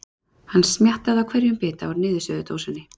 Hann smjattaði á hverjum bita úr niðursuðudósinni.